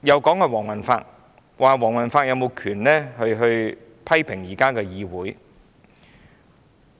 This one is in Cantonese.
他們又說黃宏發無權批評現時的議會。